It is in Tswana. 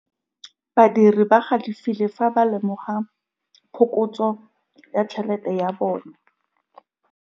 Badiri ba galefile fa ba lemoga phokotsô ya tšhelête ya bone.